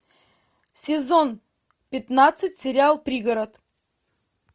сезон пятнадцать сериал пригород